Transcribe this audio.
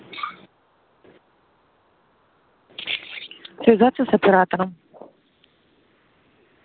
производится с оператором